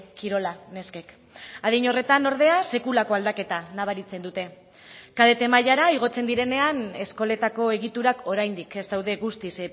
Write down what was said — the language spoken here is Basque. kirola neskek adin horretan ordea sekulako aldaketa nabaritzen dute kadete mailara igotzen direnean eskoletako egiturak oraindik ez daude guztiz